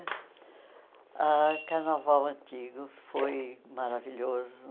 Ah o carnaval antigo foi maravilhoso.